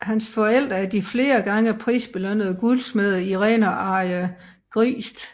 Hans forældre er de flere gange prisbelønnede guldsmede Irene og Arje Griegst